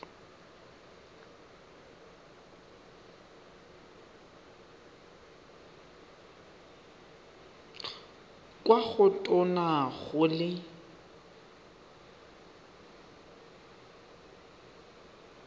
kwa go tona go le